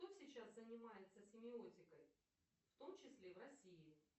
кто сейчас занимается семиотикой в том числе в россии